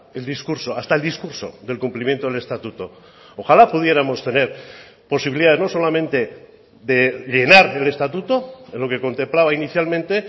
el discurso hasta el discurso del cumplimiento del estatuto ojalá pudiéramos tener posibilidad no solamente de llenar el estatuto es lo que contemplaba inicialmente